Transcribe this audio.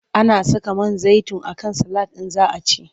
Ana saka man zaitin a kan salad in za a ci.